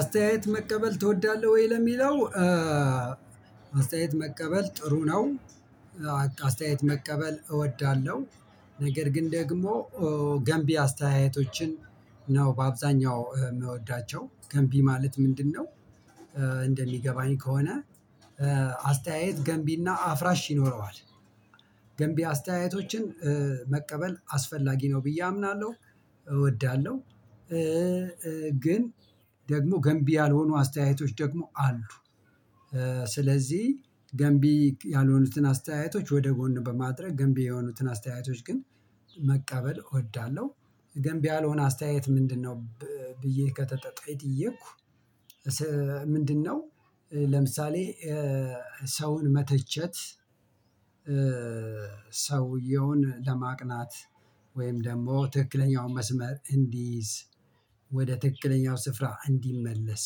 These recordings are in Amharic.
አስተያየት መቀበል ትወዳለህ ወይ ለሚለው አስተያየት መቀበል ጥሩ ነው። አስተያየት መቀበል እወዳለሁ ነገር ግን ደግሞ ገንቢ አስተያየቶችን ነው በአብዛኛው የምወዳቸው ገንቢ ማለት ምንድነው እንደሚገባኝ ከሆነ አስተያየት ገንቢና አፍራሽ ይኖረዋል ገንቢ አስተያየቶችን መቀበል አስፈላጊ ነው ብዬ አምናለሁ እወዳለሁ ግን ደግሞ ገንቢ ያልሆኑ አስተያየቶች ደግሞ አሉ ስለዚህ ገንቢ ያልሆኑትን አስተያየቶች ወደ ጎን በማድረግ ገንቢ የሆኑትን አስተያየቶች ግን መቀበል እወዳለሁ ገንቢ ያልሆነ አስተያየት ምንድነው ብዬ ከተጠየኩ ምንድነው ለምሳሌ ሰውን መተቸት ሰውየውን ለማቅናት ወይም ደግሞ ትክክለኛውን መስመር እንዲይዝ ወደ ትክክለኛው ስፍራ እንዲመለስ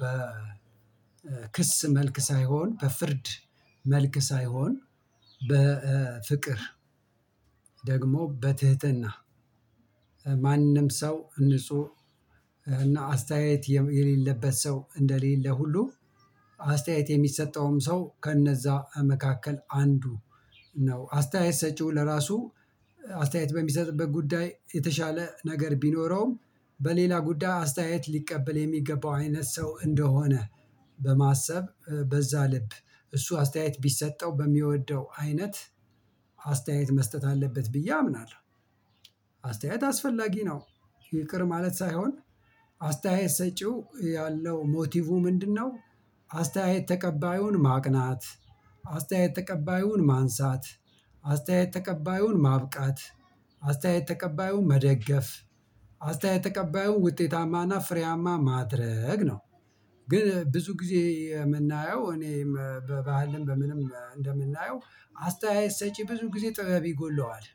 በክስ መልክ ሳይሆን በፍርድ መልክ ሳይሆን በፍቅር ደግሞ በትህትና ማንም ሰው ንጹህ እና አስተያየት የሌለበት ሰው እንደሌለ ሁሉ አስተያየት የሚሰጠውም ሰው ከነዛ መካከል አንዱ ነው አስተያየት ሰጪው ለራሱ አስተያየት በሚሰጥበት ጉዳይ የተሻለ ነገር ቢኖረውም በሌላ ጉዳይ አስተያየት ሊቀበል የሚገባው አይነት ሰው እንደሆነ በማሰብ በዛ ልብ እሱ አስተያየት ቢሰጠው በሚወደው አይነት አስተያየት መስጠት አለበት ብዬ አምናለሁ አስተያየት አስፈላጊ ነው ይቅር ማለት ሳይሆን አስተያየት ሰጪው ያለው ሞቲቩ ምንድነው አስተያየት ተቀባዩን ማቅናት አስተያየት ተቀባዩን ማንሳት አስተያየት ተቀባዩን ማብቃት አስተያየት ተቀባዩን መደገፍ አስተያየት ተቀባዩን ውጤታማና ፍሬያማ ማድረግ ነው ግን ብዙ ጊዜ የምናየው እኔም በባህልም በምንም እንደምናየው አስተያየት ሰጪ ብዙ ጊዜ ጥበብ ይጎድለዋል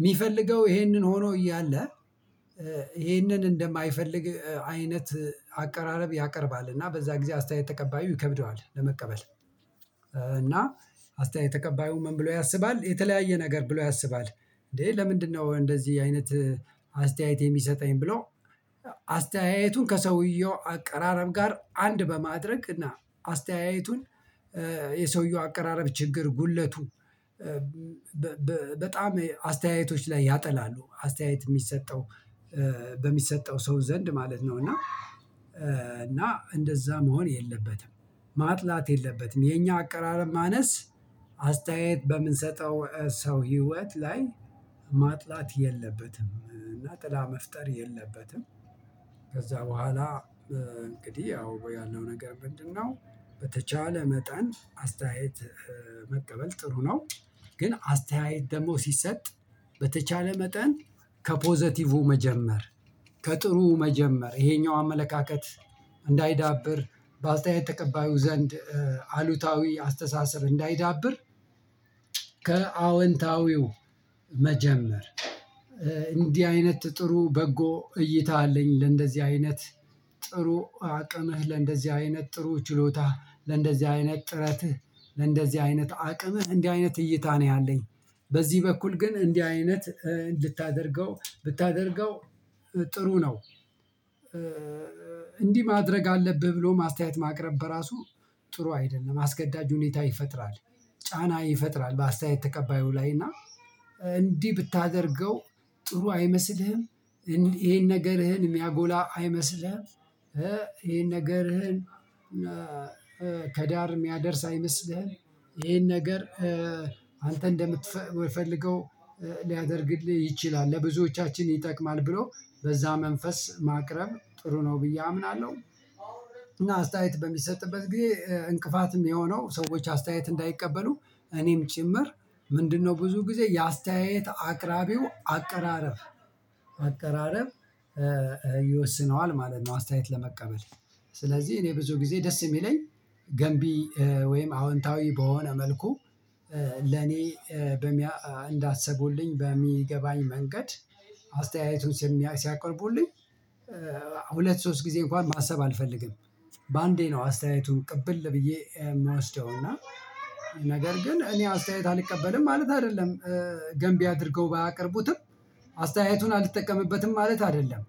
የሚፈልገው ይሄንን ሆኖ እያለ ይሄንን እንደማይፈልግ አይነት አቀራረብ ያቀርባል እና በዛ ጊዜ ተቀባዩ ይከብደዋል ለመቀበል እና አስተያየት ተቀባዩ ምን ብሎ ያስባል የተለያየ ነገር ብሎ ያስባል እንዴ ለምንድነው እንደዚህ አይነት አስተያየት የሚሰጠኝ ብሎ አስተያየቱን ከሰውየው አቀራረብ ጋር አንድ በማድረግ እና አስተያየቱን የሰውየው አቀራረብ ችግር ጉድለቱ በጣም አስተያየቶች ላይ ያጠላሉ አስተያየት የሚሰጠው በሚሰጠው ሰው ዘንድ ማለት ነው እና እና እንደዛ መሆን የለበትም ማጥላት የለበትም የኛ አቀራረብ ማነስ አስተያየት በምንሰጠው ሰው ህይወት ላይ ማጥላት የለበትም እና ጥላ መፍጠር የለበትም ከዛ በኋላ እንግዲህ ያው ያለው ነገር ምንድነው በተቻለ መጠን አስተያየት መቀበል ጥሩ ነው ግን አስተያየት ደግሞ ሲሰጥ በተቻለ መጠን ከፖዘቲቩ መጀመር ከጥሩ መጀመር ይሄኛው አመለካከት እንዳይዳብር በአስተያየት ተቀባዩ ዘንድ አሉታዊ አስተሳሰብ እንዳይዳብር ከአወንታዊው መጀመር እንዲህ አይነት ጥሩ በጎ እይታ አለኝ ለእንደዚህ አይነት ጥሩ አቅምህ ለእንደዚህ አይነት ጥሩ ችሎታህ ለእንደዚህ አይነት ጥረትህ ለእንደዚህ አይነት አቅምህ እንዲህ አይነት እይታ ነው ያለኝ በዚህ በኩል ግን እንዲህ አይነት እንድታደርገው ብታደርገው ጥሩ ነው እንዲህ ማድረግ አለብህ ብሎም አስተያየት ማቅረብ በራሱ ጥሩ አይደለም አስገዳጅ ሁኔታ ይፈጥራል ጫና ይፈጥራል በአስተያየት ተቀባዩ ላይ እና እንዲህ ብታደርገው ጥሩ አይመስልህም ይሄን ነገርህን የሚያጎላ አይመስልህም ይሄን ነገርህን ከዳር የሚያደርስ አይመስልህም ይሄን ነገር አንተ እንደምትፈልገው ሊያደርግልህ ይችላል ለብዙዎቻችን ይጠቅማል ብሎ በዛ መንፈስ ማቅረብ ጥሩ ነው ብዬ አምናለሁ እና አስተያየት በሚሰጥበት ጊዜ እንቅፋትም የሆነው ሰዎች አስተያየት እንዳይቀበሉ እኔም ጭምር ምንድነው ብዙ ጊዜ የአስተያየት አቅራቢው አቀራረብ አቀራረብ ይወስነዋል ማለት ነው አስተያየት ለመቀበል ስለዚህ እኔ ብዙ ጊዜ ደስ የሚለኝ ገንቢ ወይም አዎንታዊ በሆነ መልኩ ለኔ እንዳሰቡልኝ በሚገባኝ መንገድ ሲያቀርቡልኝ ሁለት ሶስት ጊዜ እንኳን ማሰብ አልፈልግም በአንዴ ነው አስተያየቱን ቅብል ብዬ የምወስደው እና ነገር ግን እኔ አስተያየት አልቀበልም ማለት አይደለም ገንቢ አድርገው ባያቀርቡትም አስተያየቱን አልጠቀምበትም ማለት አይደለም